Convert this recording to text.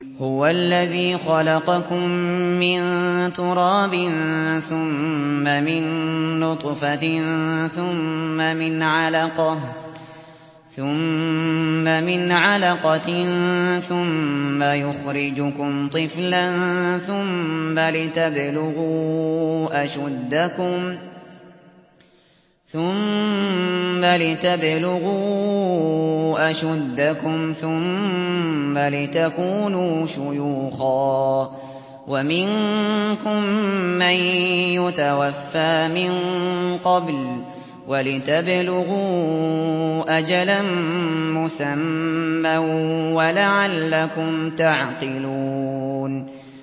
هُوَ الَّذِي خَلَقَكُم مِّن تُرَابٍ ثُمَّ مِن نُّطْفَةٍ ثُمَّ مِنْ عَلَقَةٍ ثُمَّ يُخْرِجُكُمْ طِفْلًا ثُمَّ لِتَبْلُغُوا أَشُدَّكُمْ ثُمَّ لِتَكُونُوا شُيُوخًا ۚ وَمِنكُم مَّن يُتَوَفَّىٰ مِن قَبْلُ ۖ وَلِتَبْلُغُوا أَجَلًا مُّسَمًّى وَلَعَلَّكُمْ تَعْقِلُونَ